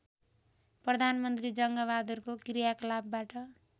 प्रधानमन्त्री जङ्गबहादुरको क्रियाकलापबाट